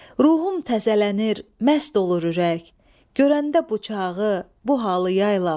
Ruhum təzələnir, məst olur ürək, görəndə bu çağı, bu halı yaylaq.